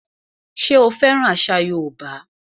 Ṣé o fẹ́ràn àṣà yóòbá?